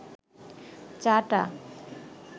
চাটা